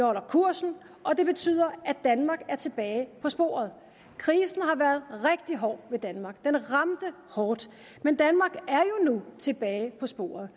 holder kursen og det betyder at danmark er tilbage på sporet krisen har været rigtig hård ved danmark den ramte hårdt men danmark er jo nu tilbage på sporet